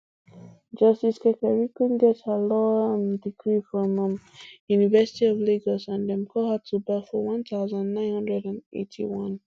justice kekereekun get her law um degree from um university of lagos and dem call her to bar for one thousand, nine hundred and eighty-one